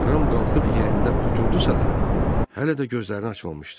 Ram qalxıb yerində oturdusa da, hələ də gözlərini açmamışdı.